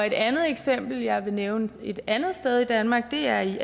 et andet eksempel vil jeg nævne et andet sted i danmark det er i